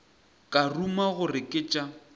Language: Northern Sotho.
ka ruma gore ke tša